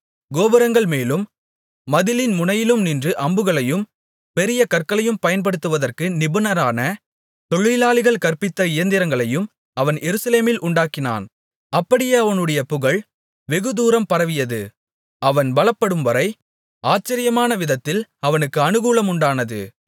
கோபுரங்கள்மேலும் மதிலின் முனையிலும் நின்று அம்புகளையும் பெரிய கற்களையும் பயன்படுத்துவதற்கு நிபுணரான தொழிலாளிகள் கற்பித்த இயந்திரங்களையும் அவன் எருசலேமில் உண்டாக்கினான் அப்படியே அவனுடைய புகழ் வெகுதூரம் பரவியது அவன் பலப்படும்வரை ஆச்சரியமான விதத்தில் அவனுக்கு அநுகூலமுண்டானது